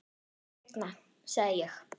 Seinna sagði ég.